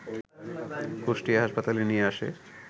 কুষ্টিয়া হাসপাতালে নিয়ে আসে